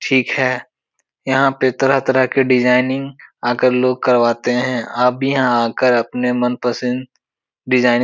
ठीक है। यहाँ पे तरह-तरह की डिजाइनिंग आकर लोग करवाते हैं। आप भी यहाँ आके अपनी मनपसंद डिजाइनिंग --